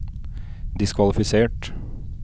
diskvalifisert